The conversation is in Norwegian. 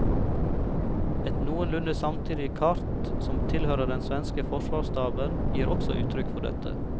Et noenlunde samtidig kart som tilhører den svenske forsvarsstaben, gir også uttrykk for dette.